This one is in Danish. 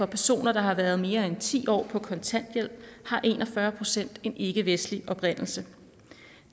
personer der har været mere end ti år på kontanthjælp har en og fyrre procent en ikkevestlig oprindelse